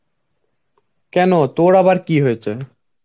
কেন তোর আবার কি হয়েছে?